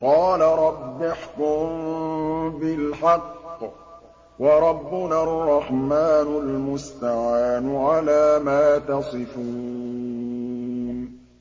قَالَ رَبِّ احْكُم بِالْحَقِّ ۗ وَرَبُّنَا الرَّحْمَٰنُ الْمُسْتَعَانُ عَلَىٰ مَا تَصِفُونَ